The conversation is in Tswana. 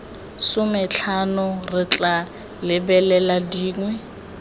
sometlhano re tla lebelela dingwe